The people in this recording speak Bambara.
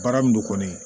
Baara min don kɔni